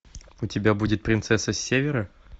у тебя будет принцесса севера